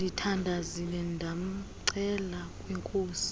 ndithandazile ndamcela kwinkosi